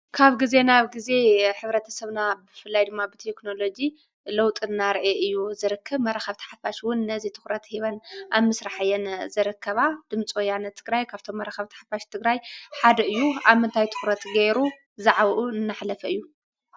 ካብ ግዜ ናብ ግዜ ሕብረተሰብና ብፍላይ ድማ ብቴክኖሎጂ ለውጢ እናርኣየ እዩ ዝርከብ። ከም መራከቢ ሓፋሽ እውን ነዚ ትኩረት ሂበን ኣብ ምስራሕ እየን ዝርከባ። ድምፂ ወያነ ትግራይ ካብቶም መራከቢ ሓፋሽ ትግራይ ሓደ እዩ። ኣብ ምንታይ ትኩረት ገይሩ ዛዕብኡ እናሕለፈ እዩ?